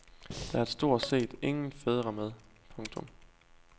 Der er stort set ingen fædre med. punktum